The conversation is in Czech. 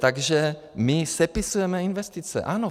Takže my sepisujeme investice, ano.